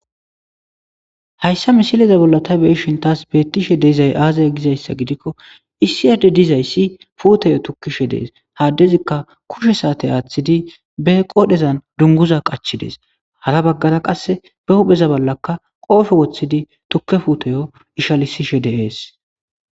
hayssa misiliza bolla ta beyishin tas bettishe de'izay aazaya gizayssa gidikko isiyade dizayssi puutoyo tukkishe dees haaddezikka kushe saate aaththidi be qodhezan dunguza qachidees hara baggara qasse be hupheza ballaka qoofe woththidi tukke fuutoyo ishalisishe deees